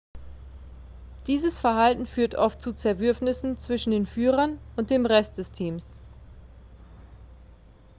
dieses verhalten führt oft zu zerwürfnissen zwischen den führern und dem rest des teams